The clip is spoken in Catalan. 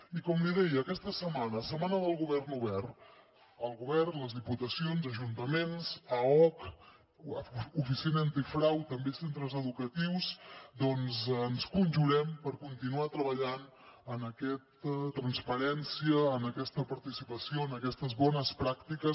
i com li deia aquesta setmana setmana del govern obert el govern les diputacions ajuntaments aoc oficina antifrau també centres educatius ens conjurem per continuar treballant en aquesta transparència en aquesta participació en aquestes bones pràctiques